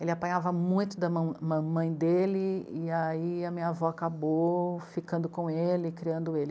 Ele apanhava muito da mãe, mãe dele, e aí a minha avó acabou ficando com ele, criando ele.